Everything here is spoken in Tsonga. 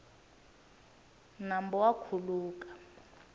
nambu wa khuluka